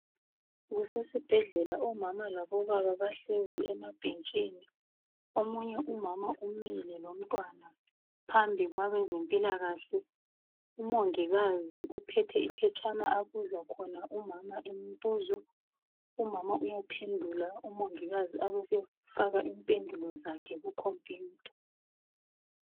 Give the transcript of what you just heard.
Kusesibhedlela omama labobaba bahlezi emabhentshini. Omunye umama umile lomntwana phambi kwabezempilakahle umongikazi uphethe iphetshana abuza khona umama imibuzo umama uyaphendula umongikazi abesefaka impendulo zakho kukhompiyutha.